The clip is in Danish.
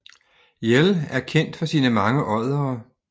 Yell er kendt for sine mange oddere